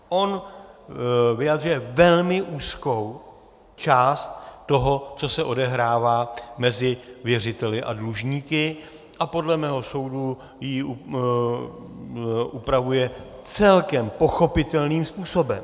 On vyjadřuje velmi úzkou část toho, co se odehrává mezi věřiteli a dlužníky, a podle mého soudu ji upravuje celkem pochopitelným způsobem.